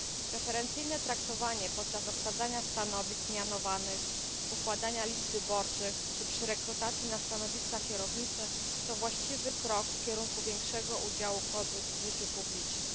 Preferencyjne traktowanie podczas obsadzania stanowisk mianowanych, układania list wyborczych czy przy rekrutacji na stanowiska kierownicze to właściwy krok kierunku większego udziału kobiet w życiu publicznym.